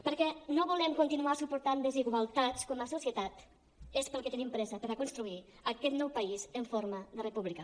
perquè no volem continuar suportant desigualtats com a societat és pel que tenim pressa per a construir aquest nou país en forma de república